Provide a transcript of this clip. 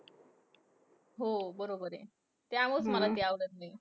हो बरोबर आहे. त्यामुळेच मला ती आवडत नाही.